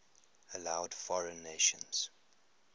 allowed foreign nations